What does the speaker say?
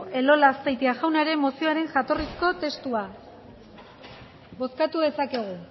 elola azpeitia jaunaren mozioaren jatorrizko testua bozkatu dezakegu